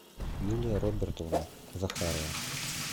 юлия робертовна захарова